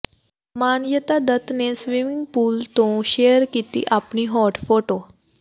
ਮਾਨਯਤਾ ਦੱਤ ਨੇ swimming pool ਤੋਂ share ਕੀਤੀ ਆਪਣੀ ਹੌਟ ਫੋਟੋ